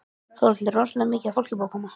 Þórhildur: Rosalega mikið af fólki búið að koma?